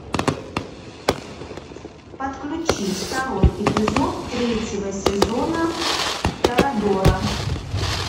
подключи второй эпизод третьего сезона торадора